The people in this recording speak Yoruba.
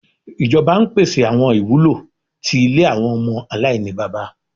Ijọba n pese awọn iwulo ti ile awọn ọmọ alainibaba